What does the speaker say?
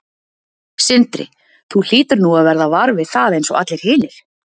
Sindri: Þú hlýtur nú að verða var við það eins og allir hinir?